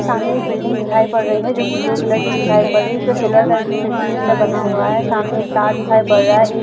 --सामने एक बिल्डिंग दिखाई पड़ रही है जो कि ब्लू कलर की दिखाई पड़ रही है इस पर सिल्वर कलर की खिड़की जैसा बना हुआ है सामने एक तार दिखाई पड़ रहा है। एक --